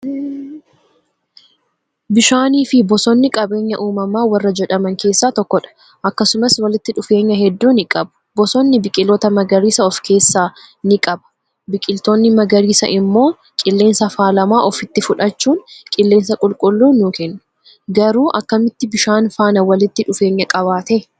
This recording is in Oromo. Bishaanii fi bosonni qabeenya uumama warra jedhaman keessaa tokkodha akkasumas walitti dhufeenya hedduu nii qabu bosonni biqiiltoota magariisa of keessaa ni qaba biqiltoonni magariisa immoo gilleensa faalama ofitti fudhachuun qillensa qulqullu nu kennu Garu akkamitti bishaan faana walitti dhufeenya qabaate?